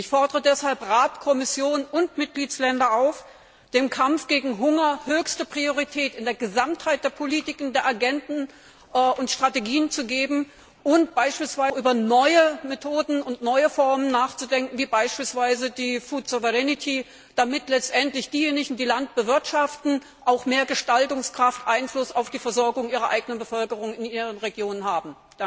Ich fordere deshalb den Rat, die Kommission und die Mitgliedstaaten auf, dem Kampf gegen Hunger höchste Priorität in der Gesamtheit der Politiken, der Agenden und Strategien einzuräumen und auch über neue Methoden und neue Formen nachzudenken, wie beispielsweise die food sovereignty damit letztendlich diejenigen, die Land bewirtschaften, auch mehr Gestaltungskraft und Einfluss auf die Versorgung ihrer eigenen Bevölkerung in ihren Regionen haben.